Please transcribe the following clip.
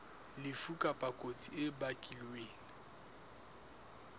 lefu kapa kotsi e bakilweng